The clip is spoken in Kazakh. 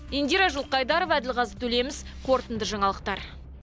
индира жылқайдарова әділғазы төлеміс қорытынды жаңалықтар